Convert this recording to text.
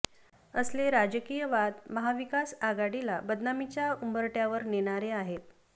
असले राजकीय वाद महाविकास आघाडीला बदनामीच्या उंबरठ्यावर नेणारे आहेत